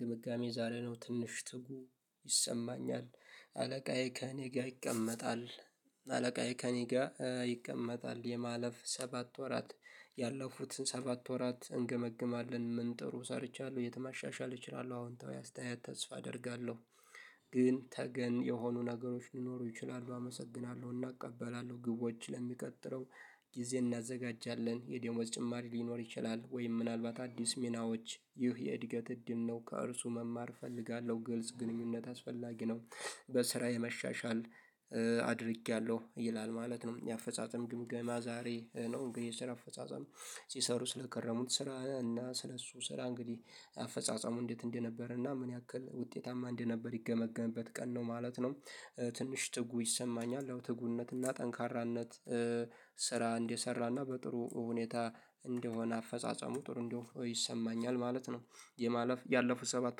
ግምጋሜ ዛሬ ነው ትንሽ ትጉ ይሰማኛል አለቃዬ ከእኔ ጋ ይቀመጣል አለቃዬ ከእኔ ጋ ይቀመጣል የማለፍ ሰባት ወራት ያለፉትን ሰባት ወራት እንገመግማለን ምን ጥሩ ሰርቻለሁ የቱን ማሻሻል አስተያየት ተስፋ አደርጋለሁ። ግን ተገን የሆኑ ነገሮች ሊኖሩ ይችላሉ አመሰግናለሁ እና እቀበላለሁ ግቦች ለሚቀጥለው ጊዜ እናዘጋጃለን የደሞዝ ጭማሪ ሊኖር ይችላል ወይም ምናልባት አዲስ ሚናዎች ይህ የእድገት እድል ነው ከእርሱ መማር እፈልጋለሁ ግልጽ ግንኙነት አስፈላጊ ነው። በስራዬ የመሻሻል አድርጌያለሁ ይላል ማለት ነው የአፈጻጸም ግምገማ ዛሬ ነው እንግዲህ የስራ አፈጻጸም ሲሰሩ ስለከረሙት ስራ እና ስለ እሱ ስራ እንግዲህ አፈጻጸሙ እንዴት እንደነበረ እና ምን ያክል ውጤታማ እንደነበር ይገመገምበት ቀን ነው ማለት ነው። ትንሽ ትጉ ይሰማኛል አዎ ትጉነትና ጠንካራነት ስራ እንደሰራና በጥሩ ሁኔታ እንደሆነ አፈጻጸሙ ጥሩ እንደሆነ ይሰማኛል ማለት ነው የማለፍ ያለፉት ሰባት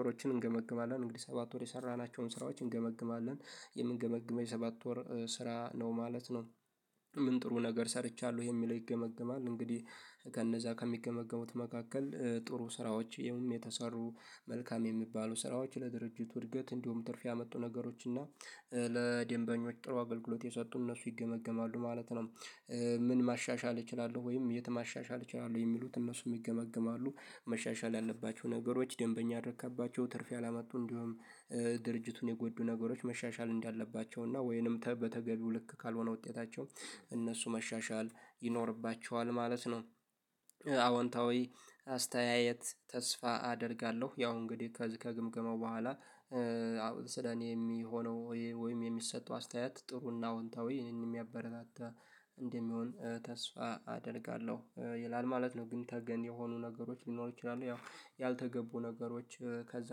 ወሮችን እንገመግማለን እንግዲህ ሰባት ወር የሰራናቸውን ስራዎችን እንገመግማለን የምንገመግመው የሰባት ወር ስራ ነው ማለት ነው። ምን ጥሩ ነገር ሰርቻለሁ የሚለው ይገመገማል እንግዲህ ከነዛ ከሚገመግሙት መካከል ጥሩ ስራዎች የውም የተሰሩ መልካም የሚባሉ ስራዎች ለድርጅቱ እድገት እንዲሁም ትርፍ ያመጡ ነገሮች እና ለድንበኞች ጥሩ አገልግሎት የሰጡ እነሱ ይገመገማሉ ማለት ነው። ምን ማሻሻል እችላለሁ ወይም የት ማሻሻል እችላለሁ የሚሉት እነሱም ይገመግማሉ መሻሻል ያለባቸው ነገሮች ደንበኛ አደረካቸው ትርፍ ያላመጡ እንዲሁም ድርጅቱን የጎዱ ነገሮች መሻሻል እንዳለባቸው እና ወይንም በተገቢው ልክ ካልሆነ ውጤታቸው እነሱ መሻሻል ይኖርባቸዋል ማለት ነው። አዎንታዊ አስተያየት ተስፋ አደርጋለሁ ያው እንግዲህ ከዚህ ከግምገማው በኋላ ስለኔ የሚሆነው ወይም የሚሰጠው አስተያየት ጥሩና አውንታዊ ይሄንን የሚያበረታታ እንደሚሆን ተስፋ አደርጋለሁ ይላል ማለት ነው ግን ተገን የሆኑ ነገሮች ሊኖሩ ይችላሉ ያው ያልተገቡ ነገሮች ከዛ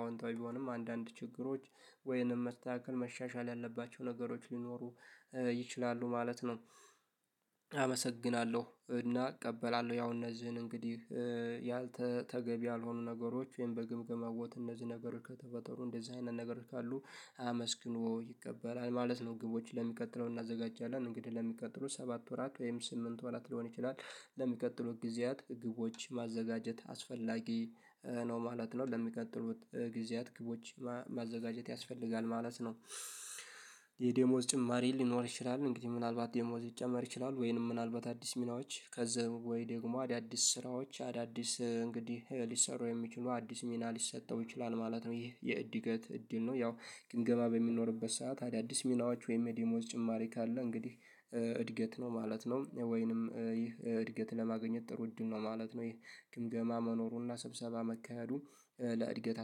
አውንታዊ ቢሆንም አንዳንድ ችግሮች ወይንም መስተካከል መሻሻል ያለባቸው ነገሮች ሊኖሩ ይችላሉ ማለት ነው። አመሰግናለሁ እና እቀበላለሁ ያው እነዚህን እንግዲህ ያልተ ተገቢ ያልሆኑ ነገሮች ወይም በግምገማ ቦታ እነዚህ ነገሮች ከተፈጠሩ እንደዚህ አይነት ነገሮች ካሉ አመስግኖ ይቀበላል ማለት ነው። ግቦችን ለሚቀጥለው እናዘጋጃለን እንግዲህ ለሚቀጥሉት ሰባት ወራት ወይም ስምንት ወራት ሊሆን ይችላል ለሚቀጥሉት ጊዜያት ግቦች ማዘጋጀት አስፈላጊ ነው ማለት ነው ለሚቀጥሉት ጊዜያት ግቦች ማዘጋጀት ያስፈልጋል ማለት ነው። የ ደሞዝ ጭማሪ ሊኖር ይችላል እንግዲህ ምናልባት ደሞዝ ሊጨመር ይችላል ወይንም ምናልባት አዲስ ሚናዎች ከዛ ወይ ደግሞ አዳዲስ ስራዎች አዳዲስ እንግዲህ ሊሰሩ የሚችሉ አዲስ ሚና ሊሰጠው ይችላል ማለት ነው። ይህ የእድገት እድል ነው ያው ግምገማ በሚኖርበት ሰዓት አዳዲስ ሚናዎች ወይም የደሞዝ ጭማሪ ካለ እንግዲህ እድገት ነው ማለት ነው ወይንም ይህ እድገት ለማግኘት ጥሩ እድል ነው ማለት ነው ይሄ ግምገማ መኖሩና ሰብሰባ መካሄዱ ለእድገት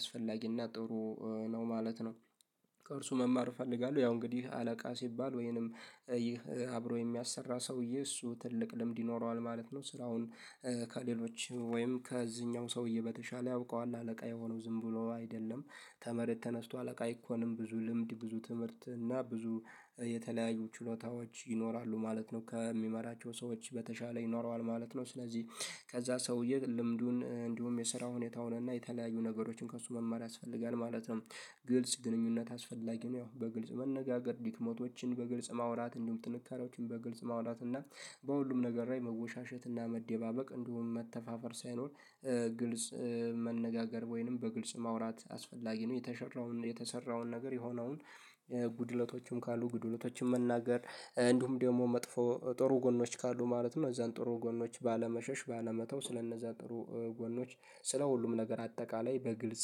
አስፈላጊና ጥሩ ነው ማለት ነው። ከእርሱ መማር እፈልጋለሁ ያው እንግዲህ አለቃ ሲባል ወይንም ይህ አብሮ የሚያሰራ ሰውዬ እሱ ትልቅ ልምድ ይኖረዋል ማለት ነው ስራውን ከሌሎች ወይም ከዚህኛውም ሰውዬ በተሻለ ያውቀዋል አለቃ የሆነው ዝም ብሎ አይደለም ተመሬት ተነስቶ አለቃ አይኮንም ብዙ ልምድ ብዙ ትምህርት እና ብዙ የተለያዩ ችሎታዎች ይኖራሉ ማለት ነው ከሚመራቸው ሰዎች በተሻለ ይኖረዋል ማለት ነው። ስለዚህ ከዛ ሰውዬ ልምዱን እንዲሁም የስራ ሁኔታውን እና የተለያዩ ነገሮችን ከእሱ መማር ያስፈልጋል ማለት ነው። ግልጽ ግንኙነት አስፈላጊ ነው ያው በግልጽ መነጋገር ዲክመቶችን በግልጽ ማውራት እንዲሁም ጥንካሬዎችን በግልጽ ማውራት እና በሁሉም ነገር ላይ መወሻሸት እና መደባበቅ እንዲሁም መተፋፈር ሳይኖር ግልጽ መነጋገር ወይንም በግልጽ ማውራት አስፈላጊ ነው የተሸራውን የተሰራውን ነገር የሆነውን ጉድለቶችም ካሉ ጉድለቶችን መናገር እንዲሁም ደግሞ መጥፎ ጥሩ ጎኖች ካሉ ማለትም እዛን ጥሩ ጎኖች ባለመሸሽ ባለመተው ስለነዛ ጥሩ ጎኖች ስለ ሁሉም ነገር አጠቃላይ በግልጽ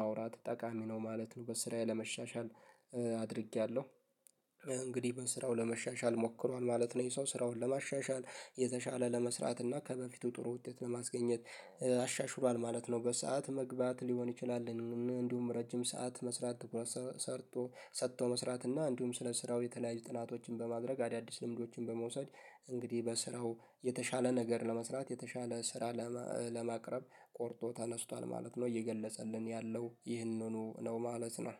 ማውራት ጠቃሚ ነው ማለት ነው። በስራዬ ለመሻሻል አድርጌያለሁ እንግዲህ በስራው ለመሻሻል ሞክሯል ማለት ነው ይሄ ሰው ስራውን ለማሻሻል የተሻለ ለመስራት እና ከበፊቱ ጥሩ ውጤት ለማስገኘት አሻሽሏል ማለት ነው። በሰአት መግባት ሊሆን ይችላል እንዲሁም ረጅምሰዓት መስራት ሰርቶ ሰጦ መስራት እና እንዲሁም ስለ ስራው የተለያዩ ጥናቶችን በማድረግ አዳዲስ ልምዶችን በመውሰድ እንግዲህ በስራው የተሻለ ነገር ለመስራት የተሻለ ስራ ለማቅረብ ቆርጦ ተነስቷል ማለት ነው። እየገለጸልን ያለው ይህንኑ ነው ማለት ነው